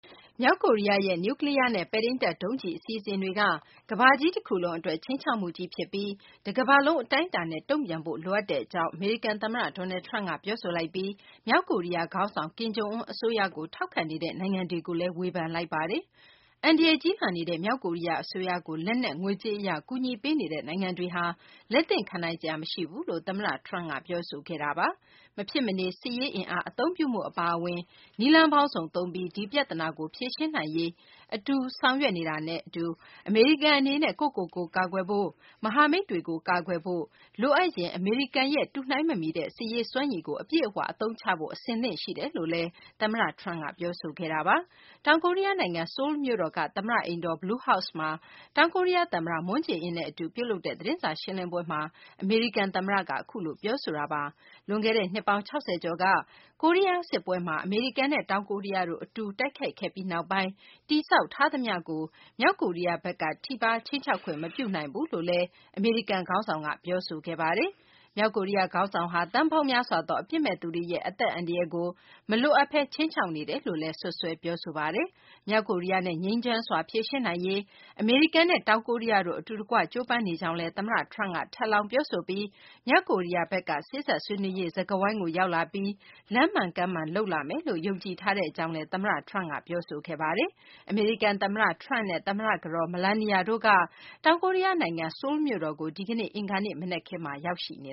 မြောက်ကိုရီးယားရဲ့ နျူးကလီးယားနဲ့ ပဲ့ထိန်းတပ်ဒုံးကျည် အစီအစဉ်တွေက ကမ္ဘာကြီးတခုလုံးအတွက် ခြိမ်းခြောက်မှုကြီး ဖြစ်ပြီး တကမ္ဘာလုံး အတိုင်းအတာနဲ့ တုံ့ပြန်ဖို့ လိုအပ်တဲ့ အကြောင်း အမေရိကန် သမ္မတ Donald Trump က ပြောဆိုလိုက်ပြီး မြောက်ကိုရီးယား ခေါင်းဆောင် ကင်ဂံျုအွန်း အစိုးရကို ထောက်ခံနေတဲ့ နိုင်ငံတွေကိုလည်း ဝေဖန်လိုက်ပါတယ်။ အန္တရာယ်ကြီးလာနေတဲ့ မြောက်ကိုရီးယား အစိုးရကို လက်နက်၊ ငွေကြေး အရ ကူညီပေးနေတဲ့ နိုင်ငံတွေဟာ လက်သင့်ခံနိုင်စရာ မရှိဘူးလို့ သမ္မတ Trump က ပြောဆိုခဲ့တာပါ။ မဖြစ်မနေ စစ်ရေး အင်အားအသုံးပြုမှု အပါအဝင် နည်းလမ်းပေါင်းစုံ အသုံးပြုပြီး ဒီပြသနာကို ဖြေရှင်းနိုင်ရေး အတွက် အတူတကွ ဆောင်ရွက်နေတာနဲ့ အတူ အမေရိကန် အနေနဲ့ ကိုယ့်ကိုယ်ကိုယ် ကာကွယ်ဖို့၊ မဟာမိတ်တွေကို ကာကွယ်ဖို့ လိုအပ်ရင် အမေရိကန်ရဲ့ တုနှိုင်းမမီတဲ့ စစ်ရေးစွမ်းရည်ကို အပြည့်အ၀ အသုံးချဖို့ အဆင်သင့် ပြင်ဆင်ထားတယ်လို့လည်း သမ္မတ Trump က ပြောဆိုခဲ့တာပါ။ တောင်ကိုရီးယား နိုင်ငံ ဆိုလ်းမြို့တော်က သမ္မတ အိမ်တော် Blue House မှာ တောင်ကိုရီးယား သမ္မတ Moon Jae-in နဲ့ အတူ ပြုလုပ်တဲ့ သတင်းစာ ရှင်းလင်းပွဲမှာ အမေရိကန် သမ္မတက အခုလို ပြောဆိုခဲ့တာပါ။ လွန်ခဲ့တဲ့ နှစ်ပေါင်း ၆၀ ကျော်က ကိုရီးယား စစ်ပွဲမှာ အမေရိကန်နဲ့ တောင်ကိုရီးယားတို့ အတူတိုက်ခိုက်ပြီးနောက်ပိုင်း တည်ဆောက်ထားသမျှကို မြောက်ကိုရီးယားဘက် ထိပါးခြိမ်းခြောက်ခွင့် မပြုနိုင်ဘူးလို့လည်း အမေရိကန် ခေါင်းဆောင်က ပြောဆိုခဲ့ပါတယ်။ မြောက်ကိုရီးယား ခေါင်းဆောင်ဟာ သန်းပေါင်းများစွာသော အပြစ်မဲ့ သူတွေရဲ့ အသက်အန္တရာယ်ကို မလိုအပ်ဘဲ ခြိမ်းခြောက်နေတယ်လို့လည်း စွပ်စွဲ ပြောဆိုလိုက်ပါတယ်။ မြောက်ကိုရီးယားနဲ့ ငြိမ်းချမ်းစွာ ဖြေရှင်းနိုင်ရေး အမေရိကန် နဲ့ တောင်ကိုရီးယားတို့ အတူတကွ ကြိုးပမ်းနေကြကြောင်းလည်း သမ္မတ Trump က ထပ်လောင်း ပြောဆိုပြီး မြောက်ကိုရီးယားဘက်က စေ့စပ်ဆွေးနွေးရေး စကားဝိုင်းကို ရောက်လာပြီး လမ်းမှန်ကမ်းမှန် လုပ်လာမယ်လို့ ယုံကြည်ထားကြောင်းလည်း သမ္မတ Trump က ပြောဆိုခဲ့ပါတယ်။ အမေရိကန် သမ္မတ Trump နဲ့ သမ္မတ ကတော် Melania တို့က တောင်ကိုရီးယား နိုင်ငံ ဆိုလ်းမြို့တော်ကို ဒီကနေ့ အင်္ဂါနေ့ မနက်ခင်းမှာ ရောက်ရှိနေ